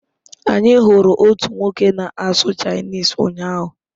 Anyị hụrụ otu nwoke na-asụ Chinese ụnyahụ